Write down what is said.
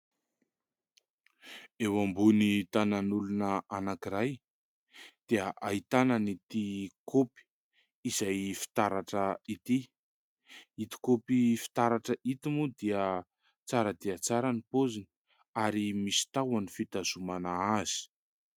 Eo ambony tanan'olona anankiray dia ahitana an'ity kaopy izay fitaratra ity. Ito kaopy fitaratra ito moa dia tsara dia tsara ny paoziny, ary misy tahony fitazomana azy.